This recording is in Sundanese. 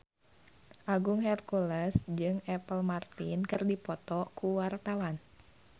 Agung Hercules jeung Apple Martin keur dipoto ku wartawan